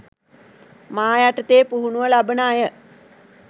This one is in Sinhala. මා යටතේ පුහුණුව ලබන අය